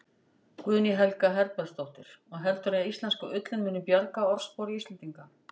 Guðný Helga Herbertsdóttir: Og heldurðu að íslenska ullin muni bjarga orðspori Íslendinga?